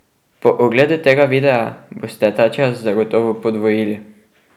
Po ogledu tega videa boste ta čas zagotovo podvojili ...